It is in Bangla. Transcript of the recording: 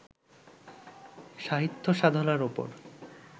সাহিত্যসাধনার ওপর